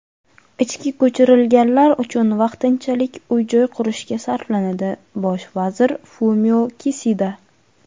ichki ko‘chirilganlar uchun vaqtinchalik uy-joy qurishga sarflanadi – Bosh vazir Fumio Kisida.